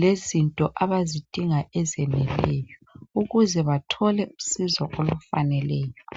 Lezinto abazidinga ezeneleyo ukuze bathole usizo olufaneleyo.